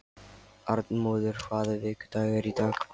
Arnmóður, hvaða vikudagur er í dag?